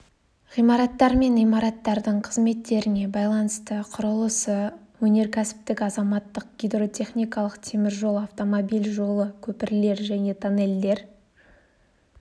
ғимараттар мен имараттардың қызметтеріне байланысты құрылысты өнеркәсіптік азаматтық гидротехникалық темір жол автомобиль жолы көпірлер және тоннельдер